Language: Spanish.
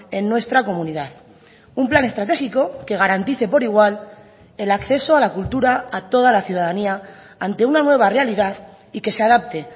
en nuestra comunidad un plan estratégico que garantice por igual el acceso a la cultura a toda la ciudadanía ante una nueva realidad y que se adapte